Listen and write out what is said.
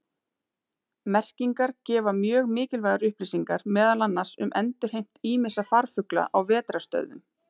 Merkingar gefa mjög mikilvægar upplýsingar meðal annars um endurheimt ýmissa farfugla á vetrarstöðvum.